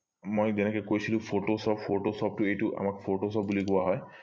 মই যেনেকে কৈছিলো photoshop photoshop টো এইটো আমাক photoshop বুলি কোৱা হয়